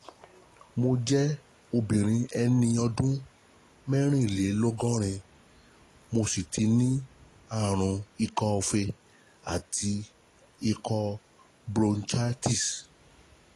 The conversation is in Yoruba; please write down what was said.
Mo jẹ́ obìnrin ẹni ọdún mẹ́rìnlélọ́gọ́rin, mo sì tí ní àrùn ikọ́ọfe àti ikọ́ bronchitis